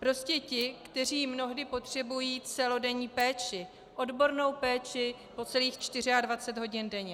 prostě ti, kteří mnohdy potřebují celodenní péči, odbornou péči po celých 24 hodin denně.